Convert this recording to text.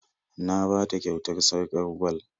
Na ba ta kyautar sarƙar gwal